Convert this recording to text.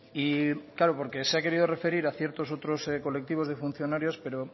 porque se ha querido referir a ciertos otros colectivos de funcionarios pero